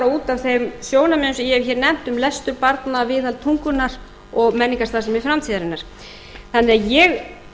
af þeim sjónarmiðum sem ég hef hér nefnt um lestur barna viðhaldi tungunnar og menningarstarfsemi framtíðarinnar þannig að ég